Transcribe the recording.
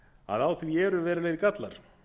að á því eru verulegir gallar